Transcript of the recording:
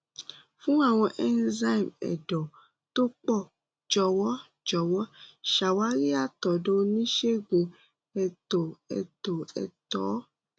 fún àwọn enzyme ẹ̀dọ̀ tó pọ̀ jọ̀wọ́ jọ̀wọ́ ṣàwárí àtọ̀dọ̀ oníṣègùn ètò ètò ẹ̀tọ́